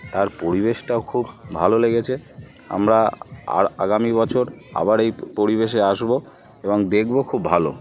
তার পরিবেশটাও খুব ভালো লেগেছে। আমরা আর আগামী বছর আবার এই পরিবেশে আসবো এবং দেখবো খুব ভালো।